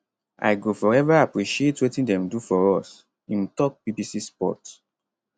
i go forever appreciate wetin dem do for us im tok bbc sport